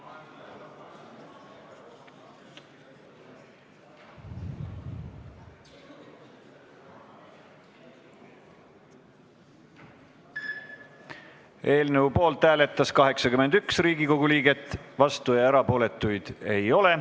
Hääletustulemused Eelnõu poolt hääletas 81 Riigikogu liiget, vastuolijaid ja erapooletuid ei olnud.